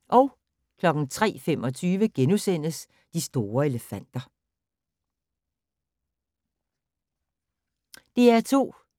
DR2